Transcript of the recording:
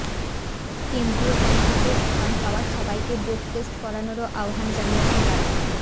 কেন্দ্রীয় কমিটিতে স্থান পাওয়া সবাইকে ডোপ টেস্ট করানোরও আহ্বান জানিয়েছেন তারা